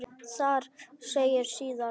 Þar segir síðan